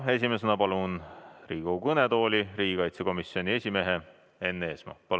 Esimesena palun Riigikogu kõnetooli riigikaitsekomisjoni esimehe Enn Eesmaa.